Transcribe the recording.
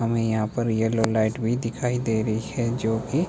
हमें यहां पर येलो लाइट भी दिखाई दे रही है जो की--